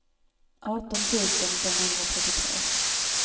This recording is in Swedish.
arton tusen femhundratrettiotre